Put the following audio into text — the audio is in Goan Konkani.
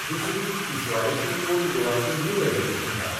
दुसरी तिसवाडेची ओल्ड गोवाची न्यू एज्युकेशन शाळा.